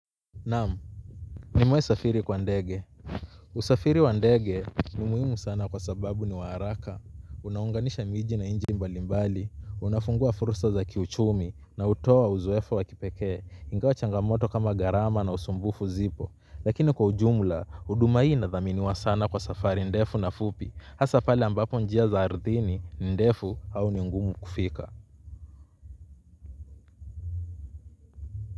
Naam. Nimewaisafiri kwa ndege. Usafiri wa ndege ni muhimu sana kwa sababu ni wa haraka. Unaunganisha miji na nchi mbali mbali. Unafungua fursa za kiuchumi. Na hutoa uzoefu wa kipekee ingawa changamoto kama garama na usumbufu zipo. Lakini kwa ujumla uduma hii na inadhaminiwa sana kwa safari ndefu na fupi. Hasa pale ambapo njia za ardhini ndefu au ni ngumu kufika.